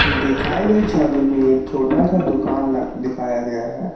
दिखाई गई छवि में एक छोटा सा दुकान ल दिखाया गया है।